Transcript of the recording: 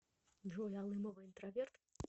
джой алымова интроверт